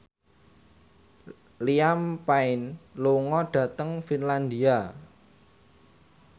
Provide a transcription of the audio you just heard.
Liam Payne lunga dhateng Finlandia